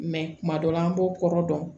kuma dɔ la an b'o kɔrɔ dɔn